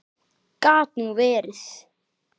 Gat nú verið!